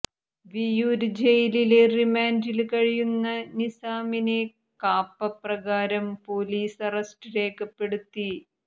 വിയ്യൂര് ജയിലില് റിമാന്റില് കഴിയുന്ന നിസാമിനെ കാപ്പപ്രകാരം പൊലീസ് അറസ്റ്റ് രേഖപ്പെടുത്തി